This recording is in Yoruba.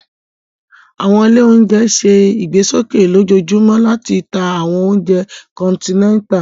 Awọn ile ounjẹ ǹ ṣe igbesoke lojoojumọ lati ta awọn ounjẹ kọntinẹta